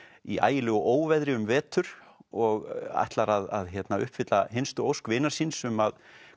í ægilegu óveðri um vetur og ætlar að uppfylla hinstu ósk vinar síns um að